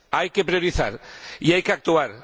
Hay que priorizar y hay que actuar